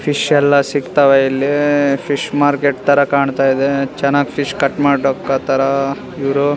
Fish ಎಲ್ಲ ಸಿಗ್ತವ ಇಲ್ಲಿ ಫಿಶ್ ಮಾರ್ಕೆಟ್ ತರ ಕಾಣ್ತಾ ಇದೆ ಚೆನ್ನಾಗ್ ಫಿಶ್ ಕಟ್ಟ್ ಮಾಡೊಕತಾರ ಇವ್ರು.